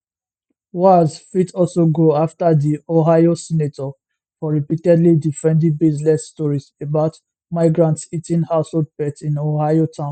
walz fit also go afta di ohio senator for repeatedly defending baseless stories about migrants eating household pets in ohio town